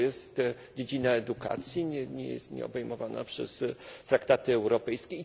To jest dziedzina edukacji, nieobejmowana przez traktaty europejskie.